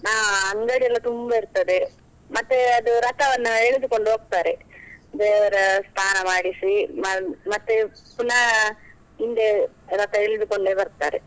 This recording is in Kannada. ಹಾ ಅಂಗಡಿಯೆಲ್ಲಾ ತುಂಬಾ ಇರ್ತದೆ, ಮತ್ತೆ ಅದು ರಥವನ್ನಎಳೆದುಕೊಂಡು ಹೋಗ್ತಾರೆ ದೇವರ ಸ್ನಾನ ಮಾಡಿಸಿ ಮ~ ಮತ್ತೆ ಪುನಃ ಹಿಂದೆ ರಥ ಎಳೆದುಕೊಂಡೇ ಬರ್ತಾರೆ.